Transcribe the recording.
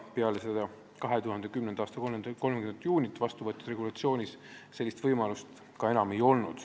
Peale 2010. aasta 30. juunit vastu võetud regulatsioonis sellist võimalust enam ei ole.